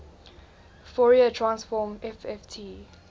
fourier transform fft